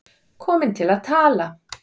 Komin til að tala.